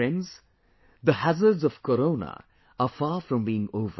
But friends, the hazards of Corona are far from being over